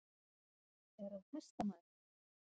Er hann hestamaður?